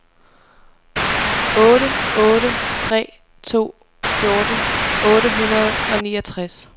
otte otte tre to fjorten otte hundrede og niogtres